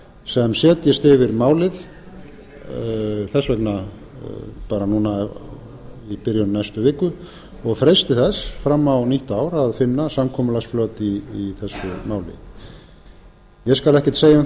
sem setjist yfir málið þess vegna bara núna í byrjun næstu viku og freisti þess fram á nýtt ár að finna samkomulagsflöt í þessu máli ég skal ekkert segja um